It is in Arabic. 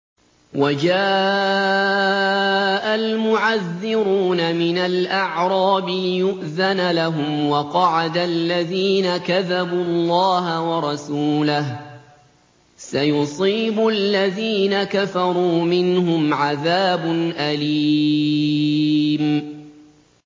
وَجَاءَ الْمُعَذِّرُونَ مِنَ الْأَعْرَابِ لِيُؤْذَنَ لَهُمْ وَقَعَدَ الَّذِينَ كَذَبُوا اللَّهَ وَرَسُولَهُ ۚ سَيُصِيبُ الَّذِينَ كَفَرُوا مِنْهُمْ عَذَابٌ أَلِيمٌ